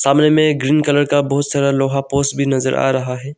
सामने में green colour का बहुत सारा लोहे का पोल्स भी नजर आ रहा है।